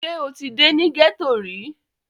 Ṣé o ti dé ní gẹ́ẹ́tò rí?